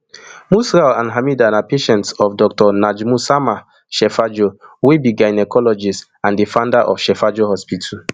musral and hamida na patients of dr najmussama shefajo wey be gynaecologist and di founder of shefajo hospital